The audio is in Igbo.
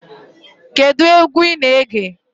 Kedụ egwu ị na-ege?